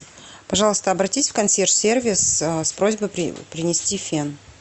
пожалуйста обратись в консьерж сервис с просьбой принести фен